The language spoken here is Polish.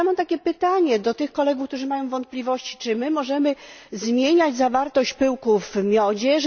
Ja mam takie pytanie do tych kolegów, którzy mają wątpliwości czy my możemy zmieniać zawartość pyłku w miodzie?